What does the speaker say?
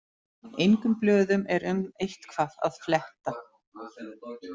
Engum blöðum er um eitthvað að fletta